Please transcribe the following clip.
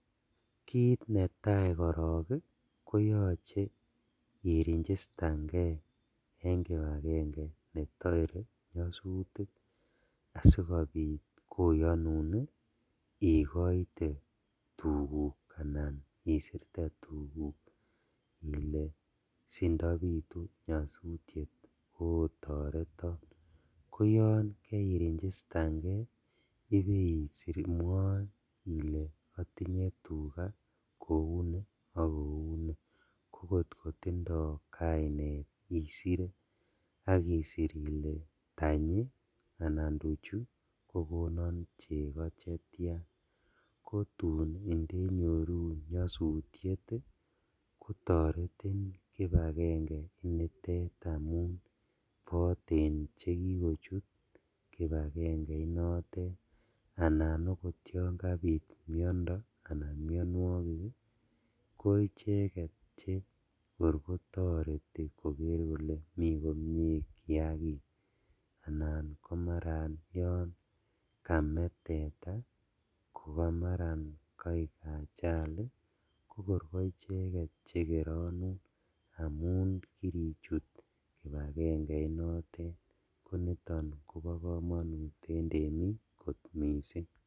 Kiit netai korok koyoche iregistanke eng kibakenge netoe nyasutik asikobit koyonun ikoite tuguk ana isirte tuguk ile sindapitu nyosutiet ko toreto ko yon keiregistangei ibeiser imwoe ile atinye tuga kouni akouni akot kotindoi kainet isere akisir ile tanyi anan tuchuta kokonon cheko chetia kotun ndenyorun nyosutiet kotoretin kibakenge nitet amun boten chekikochut kibakengeit notet ana okot yon kabit miondo anan mionwokik ko icheket che kor kotoreti koker kole mii komie kiakik anan ko maran yon kame teta kokamara kaek achali kokoi koicheket cheotonun amun kirichut kibakengeit notet koniton Kobo komonut eng temik kot mising.